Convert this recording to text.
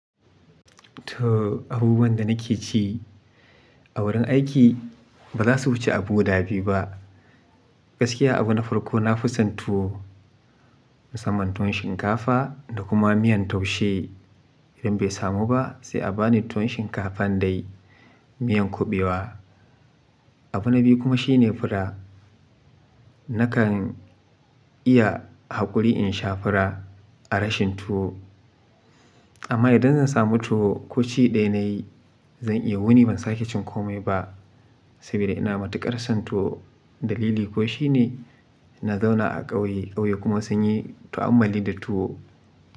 To abubuwan da nake ci a wurin aiki ba za su wuce abu guda da biyu ba. Gaskiya abu na farko na fi son tuwo musamman tuwon shinkafa da kuma miyan taushe. Idan bai samu ba sai a bani tuwon shinkafan dai miyan kuɓewa. Abu na biyu kuma shine fura. Nakan iya haƙuri in sha fura a rashin tuwo. Amma idan zan samu tuwo koci ɗaya na yi, zan iya wuni ban sake cin komai ba sabida ina matuƙar son tuwo. Dalili ko shine na zauna a ƙauye, ƙauye kuma sun yi ta'ammali da tuwo.